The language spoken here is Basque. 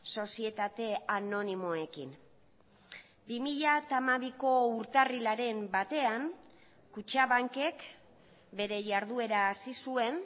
sozietate anonimoekin bi mila hamabiko urtarrilaren batean kutxabankek bere jarduera hasi zuen